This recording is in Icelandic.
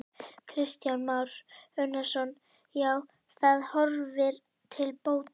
Kristján Már Unnarsson: Já, það horfir til bóta?